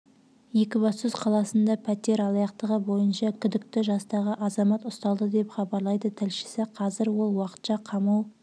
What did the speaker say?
екібастұз қаласында пәтер алаяқтығы бойынша күдікті жастағы азамат ұсталды деп хабарлайды тілшісі қазір ол уақытша қамау